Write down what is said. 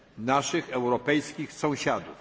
naszych europejskich sąsiadów.